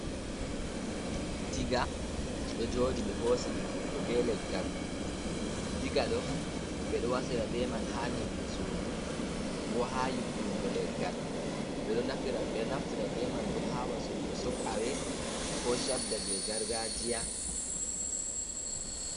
Diga ɗo joɗi ɓe hosi ɗum hoto be leggal mai, diga ɗo ɓeɗo wasira be man ha nyiɓugo sudu ko ha yubbingo leggal bebe naftira be man bo ha wasurgo sok awe, ko shadda je gargajiya.